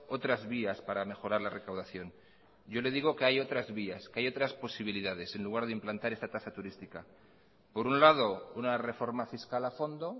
otras vías para mejorar la recaudación yo le digo que hay otras vías que hay otras posibilidades en lugar de implantar esta tasa turística por un lado una reforma fiscal a fondo